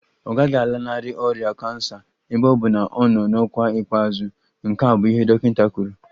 Ọ gaghị alanarị ọrịa kansa ebe ọ bụ na ọ nọ n'ọkwa ikpeazụ, nke a bụ ihe dọkịta kwuru